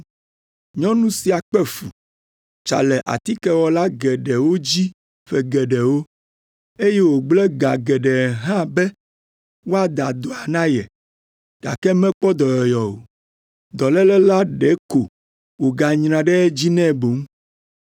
Nyɔnu sia kpe fu, tsa le atikewɔla geɖewo dzi ƒe geɖewo, eye wògblẽ ga geɖe hã be woada dɔa na ye, gake mekpɔ dɔyɔyɔ o, dɔléle la ɖeko wòganyra ɖe edzi nɛ boŋ.